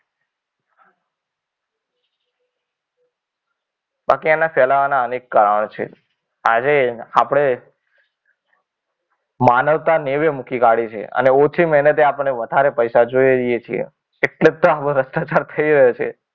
બાકી એના ફેલાવાના અનેક કારણો છે. આજે આપણે માનવતા નેવે મુખી કાઢી છે. અને ઓછી મહેનતે આપણને વધારે પૈસા જોઈએ છે. એટલે તો આ ભ્રષ્ટાચાર થઈ રહ્યો છે.